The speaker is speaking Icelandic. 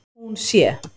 Hún sé